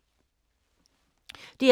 DR P3